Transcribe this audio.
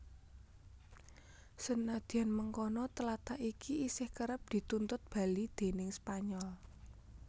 Senadyan mengkono tlatah iki isih kerep dituntut bali déning Spanyol